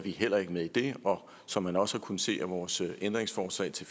vi heller ikke med i det og som man også har kunnet se af vores ændringsforslag til